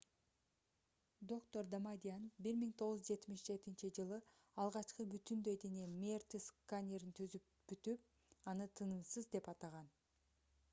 доктор дамадьян 1977-жылы алгачкы бүтүндөй дене мрт-сканерин түзүп бүтүп аны тынымсыз деп атаган